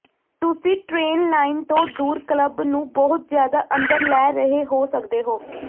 ਤੁਸੀਂ train line ਤੋਂ ਦੂਰ ਕਲੱਬ ਨੂੰ ਬਹੁਤ ਜ਼ਿਆਦਾ ਅੰਦਰ ਲੈ ਰਹੇ ਹੋ ਸਕਦੇ ਹੋ